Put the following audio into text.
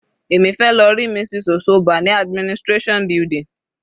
Èmi fẹ́ lọ rí Mrs. Osoba ní administration building.